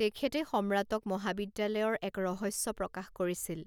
তেখেতে সম্ৰাটক মহাবিদ্যালয়ৰ এক ৰহস্য প্ৰকাশ কৰিছিল